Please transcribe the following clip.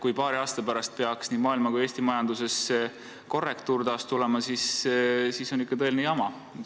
Kui paari aasta pärast peaks nii maailma kui Eesti majanduses taas pööre tulema, siis on ikkagi tõeline jama.